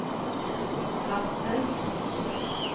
Hadsel